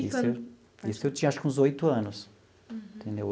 Isso eu isso eu tinha acho que uns oito anos, entendeu?